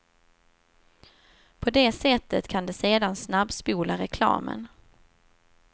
På det sättet kan de sedan snabbspola reklamen.